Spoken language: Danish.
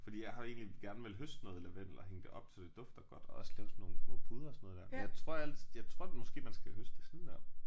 Fordi jeg har egentlig gerne villet høste noget lavendel og hænge det op så det dufter godt og også lave sådan nogle små puder og sådan noget der men jeg tror altid jeg tror måske man skal høste det sådan der